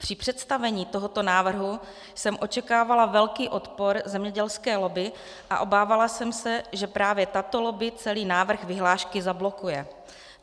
Při představení tohoto návrhu jsem očekávala velký odpor zemědělské lobby a obávala jsem se, že právě tato lobby celý návrh vyhlášky zablokuje.